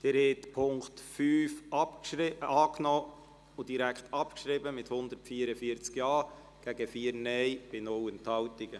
Sie haben den Punkt 5 angenommen und direkt abgeschrieben mit 144 Ja- gegen 4 NeinStimmen bei 0 Enthaltungen.